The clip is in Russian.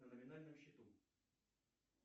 на номинальном счету